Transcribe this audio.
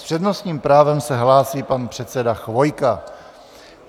S přednostním právem se hlásí pan předseda Chvojka.